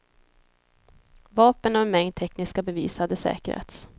Vapen och en mängd tekniska bevis hade säkrats.